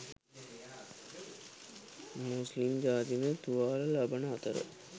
මුස්ලිම් ජාතිකයන් තුවාල ලබන අතර